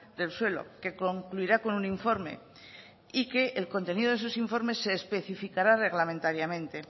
del suelo que concluirá con un informe y que el contenido de esos informes se especificará reglamentariamente